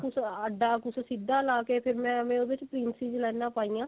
ਕੁੱਝ ਆਦਾ ਕੁੱਝ ਸਿੱਧਾ ਪਾ ਕੇ ਮੈਨੇ ਉਹਦੇ ਚ princess ਲਾਈਨਾ ਪਾਈਆਂ